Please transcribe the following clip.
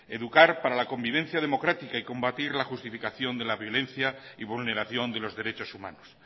educar para la convivencia democrática y combatir la justificación de la violencia y vulneración de los derechos humanos